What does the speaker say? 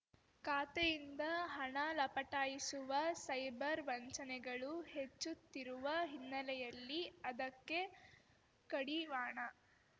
ಖಾತೆಯಿಂದ ಹಣ ಲಪಟಾಯಿಸುವ ಸೈಬರ್‌ ವಂಚನೆಗಳು ಹೆಚ್ಚುತ್ತಿರುವ ಹಿನ್ನೆಲೆಯಲ್ಲಿ ಅದಕ್ಕೆ ಕಡಿವಾಣ